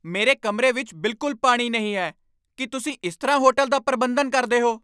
ਮੇਰੇ ਕਮਰੇ ਵਿੱਚ ਬਿਲਕੁੱਲ ਪਾਣੀ ਨਹੀਂ ਹੈ! ਕੀ ਤੁਸੀਂ ਇਸ ਤਰ੍ਹਾਂ ਹੋਟਲ ਦਾ ਪ੍ਰਬੰਧਨ ਕਰਦੇ ਹੋ?